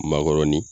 Makɔrɔni